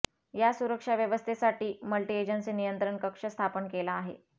या सुरक्षा व्यवस्थेसाठी मल्टी एजन्सी नियंत्रण कक्ष स्थापन केला आहे